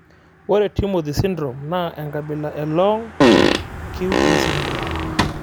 Ore Timothy syndrome naa enkabila Long QT syndrome.